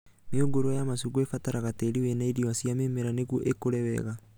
Mĩũngũrwa ya macungwa ĩbataraga tĩĩri wĩna irio cia mĩmera nĩguo ĩkũre wega